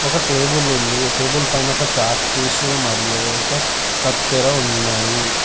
ఒక టేబులుంది టేబుల్ పైన ఒక చాక్ పీసు మరియు ఒక కత్తెర ఉన్నాయి.